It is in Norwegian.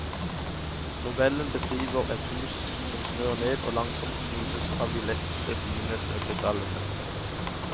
Novellen beskriver et hus som snør ned og langsomt knuses av de lette fine snøkrystallene.